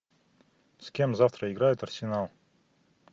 с кем завтра играет арсенал